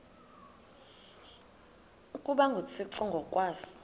ukuba nguthixo ngokwaso